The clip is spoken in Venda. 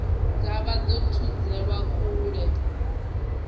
dza vha dzo thudzelwa kule